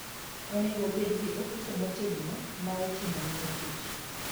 Onego obed gi ofuko motegno ma oting'o mor kich.